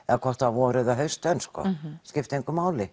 vor eða haustönn sko skipti engu máli